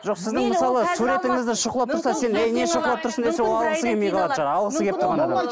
жоқ сіздің мысалы суретіңізді шұқылап тұрса сен ей не шұқылап тұрсың десе ол алғысы келмей қалады жаңағы алғысы келіп тұрған адам